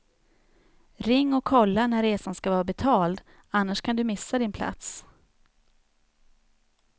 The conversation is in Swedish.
Ring och kolla när resan ska vara betald, annars kan du missa din plats.